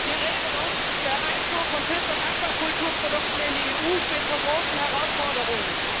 Die Regelung der Einfuhr von Fisch und Aquakulturprodukten in die EU steht vor großen Herausforderungen.